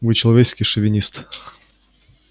вы человеческий шовинист